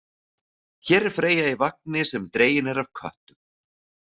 Hér er Freyja í vagni sem dreginn er af köttum.